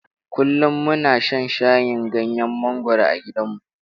Kullum muna shan shayin ganyen mangwaro a gidanmu.